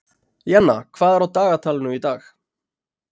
Jenna, hvað er á dagatalinu í dag?